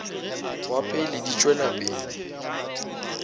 wa pele di tšwela pele